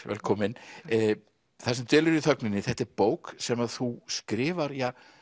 velkomin það sem dvelur í þögninni þetta er bók sem þú skrifar